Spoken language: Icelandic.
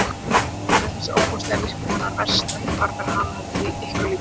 Sem stendur er þessi ofboðslega ofvirkni hennar verst, ekki bara fyrir hana, heldur ykkur líka.